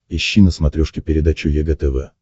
ищи на смотрешке передачу егэ тв